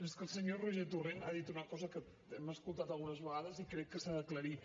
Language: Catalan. és que el senyor roger torrent ha dit una cosa que hem escoltat algunes vegades i crec que s’ha d’aclarir